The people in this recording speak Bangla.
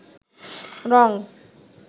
রঙ